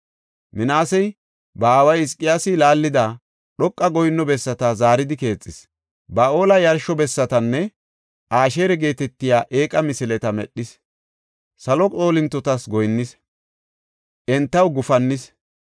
Minaasey ba aaway Hizqiyaasi laallida, dhoqa goyinno bessata zaaridi keexis. Ba7aale yarsho bessatanne Asheera geetetiya eeqa misileta medhis; salo xoolintota goyinnis; entaw gufannis.